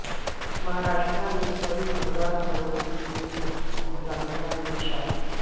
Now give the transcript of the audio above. مہاراشٹرا میں کئی ہزار کروڑ روپے کے گھوٹالے کا انکشاف